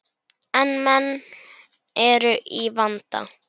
En menn eru í vanda.